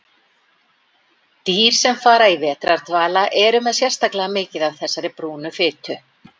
Dýr sem fara í vetrardvala eru með sérstaklega mikið af þessari brúnu fitu.